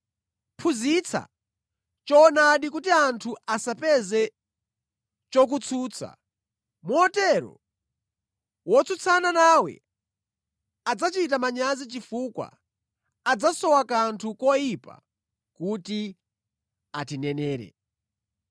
Phunzitsa choonadi kuti anthu asapeze chokutsutsa, motero wotsutsana nawe adzachita manyazi chifukwa adzasowa kanthu koyipa kuti atinenere.